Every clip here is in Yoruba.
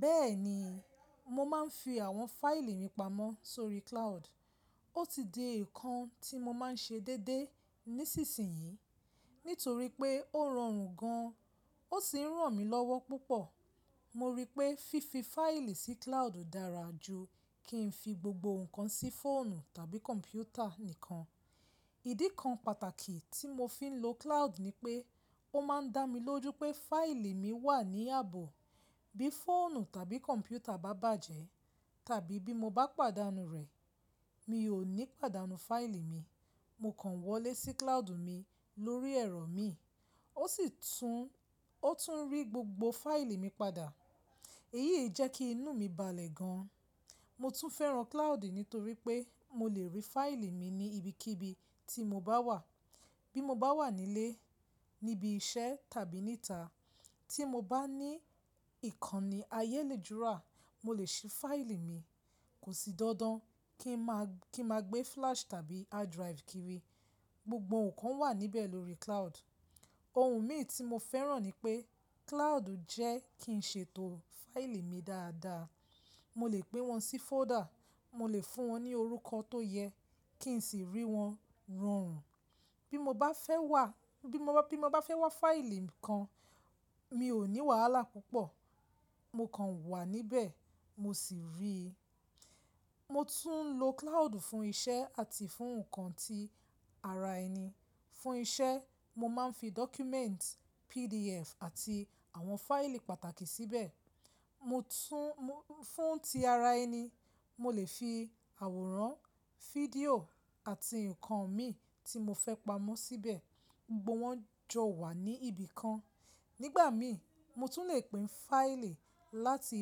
Bẹ́ẹ̀ni, mo máa ń fi àwọn fáìlì mi pamọ́ sórí cloud. Ó ti di nǹkan tí mo máa ń ṣe déédéé nísinsì yí, nítorí pé ó rọrùn gan an, ó sì ń ràn mí lọ́wọ́ púpọ̀. Mo rí i pé fífi fáìlì sí cloud dára ju kí n fi gbogbo nǹkan sí fóònù tàbí kọ̀m̀pútà nìkan. Ìdí kan pàtàkì tí mo fi ń lo cloud ni pé ó máa ń dá mi lójú pé fáìlì mi wà ní ààbò. Bí fóònù tàbí kọ̀m̀pútà bá bàjẹ́ tàbí bí mo bá pàdánù rẹ̀, mi ò ní pàdánù fáìlì mi. Mo kàn wọlé sí cloud mi lórí ẹ̀rọ mi, ó sì tún, ó tún rí gbogbo fáìlì mi padà. Èyí jẹ kí inú mi balẹ̀ gan. Mo tún fẹ́ràn cloud nítorí pé mo lè rí fáìlì mi ní ibikíbi tí mo bá wà. Bí mo bá wà nílé, níbi iṣẹ́, tàbí níta, tí mo bá ní ìkànnì ayélujára, mo lè sí fáìlì mi. Kò sí dandan kí ń máa, kí a máa gbé flash tàbí hard drive kiri. Gbogbo nǹkan wà níbẹ̀ lórí cloud. Ohun mi tí mo fẹ́ràn ni pé cloud jẹ́ kí n ṣètò fáìlì mi dáadaa. Mo lè gbé wọn sí fóọ́dà, mo lè fún wọn ní orúkọ tó yẹ kí n sì rí wọn rọrùn. Bí mo bá fẹ́ wà, bí mo bá, bí mo bá fẹ́ wá fáìlì nǹkan, mi ò ní wàhálà púpọ̀. Mo kàn wà níbẹ̀, mo sì rí i. Mo tún ń lo cloud fún iṣẹ́ àti fún nǹkan ti ara ẹni. Fún iṣẹ́, mo máa ń fi dọ́kúmẹ́ǹtì PDF àti àwọn fáìlì pàtàkì síbẹ̀. Mo tún, mo fún ti ara ẹni, mo lè fi àwòrán, fídíò àti nǹkan mi tí mo fẹ́ pamọ́ síbẹ̀, gbogbo wọn jọ wà ní ibi kan. Nígbà mi, mo tún lè pín fáìlì láti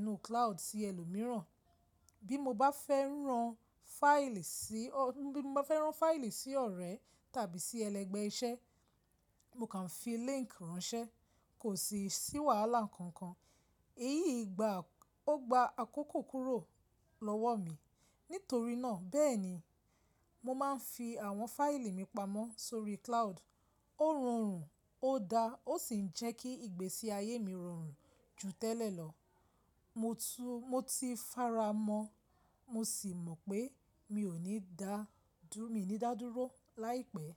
inú cloud sí ẹlòmíràn. Bí mo bá fẹ́ rán fáìlì sí, bí mo bá fẹ́ rán fáìlì sí ọ̀rẹ́ tàbí sí ẹlẹgbẹ́ iṣẹ́, mo kàn fi líńkì ránṣẹ́. Kò sí sí wàhálà kankan. Èyí gba, ó gba àkókò kúrò lọ́wọ́ mi. Nítorí náà, bẹ́ẹ̀ni, mo máa ń fi àwọn fáìlì mi pamọ́ sórí cloud. Ó rọrùn, ó da, ó sì ń jẹ́ kí ìgbésí ayé mi rọrùn ju tẹ́lẹ̀ lọ. Mo tún, mo ti faramọ́, mo sì mọ̀ pé mi ò ní da, dú mi ní dádúró láìpẹ́.